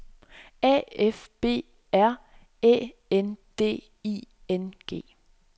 A F B R Æ N D I N G